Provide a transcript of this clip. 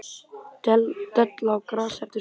Della á grasi eftir skúr.